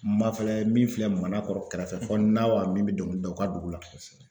Mafilɛ min filɛ Manakɔrɔ kɛrɛfɛ, fo Naawa min bɛ dɔngili da o ka dugu la, kosɛbɛ